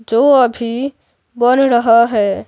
जो अभी बन रहा है।